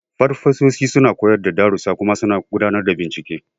Farfesoshi suna koyar da darussa kuma suna gudanar da bincike.